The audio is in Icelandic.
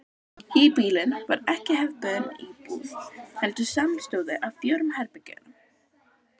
Híbýlin voru ekki hefðbundin íbúð heldur samanstóðu af fjórum herbergjum.